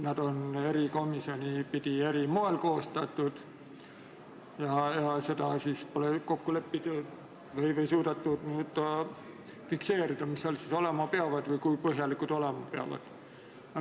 Neid on eri komisjonides koostatud eri moel ja pole suudetud fikseerida, mis neis olema peab või kui põhjalikud need olema peavad.